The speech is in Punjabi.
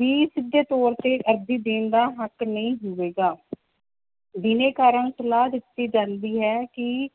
ਵੀ ਸਿੱਧੇ ਤੌਰ ਤੇ ਅਰਜੀ ਦੇਣ ਦਾ ਹੱਕ ਨਹੀਂ ਹੋਵੇਗਾ ਬਿਨੈਕਾਰਾਂ ਨੂੰ ਸਲਾਹ ਦਿੱਤੀ ਜਾਂਦੀ ਹੈ ਕਿ